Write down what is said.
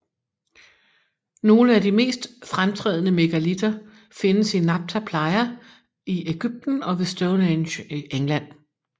Nogle af de mest fremtrædende megalitter findes i Nabta Playa i Egypten og ved Stonehenge i England